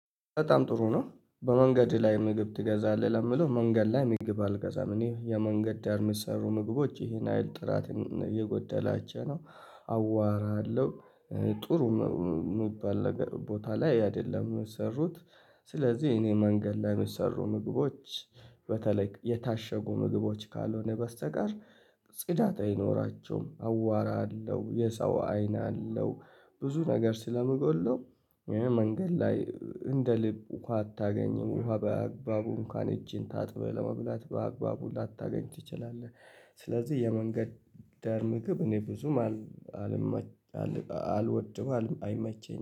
በጣም ጥሩ ነው? በመንገድህ ላይ ምግብ ትገዛለህ ለምለው መንገድ ላይ ምግብ አልገዛም እኔ የመንገድ ዳር ሚሰሩ ምግቦች ይሄን አይል ጥራት እየጎደላቸው ነው። አዋራለሁ ጥሩ ሚባል ቦታ ላይ አይደለም ሚሰሩት። ስለዚህ እኔ መንገድ ላይ ሚሰሩ ምግቦች። በተለይ የታሸጉ ምግቦች ካልሆነ በስተቀር ጽዳት አይኖራቸውም አቧራ አለው የሰው አይን አለው። ብዙ ነገር ስለሚጎድለው። መንገድ ላይ እንደ ልብ ውሃ አታገኝም ውሃ በአግባቡ እንኳን እጅን ታጥበህ ለመብላት በአግባቡ ላታገኝ ትችላለህ። ስለዚህ የመንገድ ዳር ምግብ እኔ ብዙም አልወድም አይመቸኝም